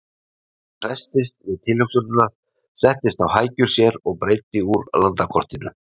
Hann hresstist við tilhugsunina, settist á hækjur sér og breiddi úr landakortinu.